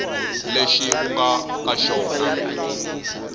lexi u nga ka xona